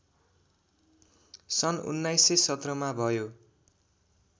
सन् १९१७ मा भयो